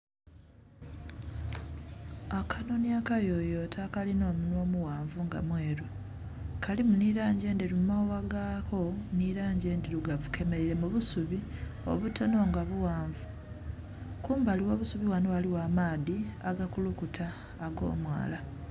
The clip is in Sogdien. akanhonhi akayoyote akalinha omunwa omuyoyote nga mweru, kalimu nhi langi endheru mu maghagha gaako nhi langi endhilugavu, kenelaile mu busubi obutonho nga bughanvu. Kumbali gho busubi ghanho ghaligho amaadhi agakulukuta ag'omwaala.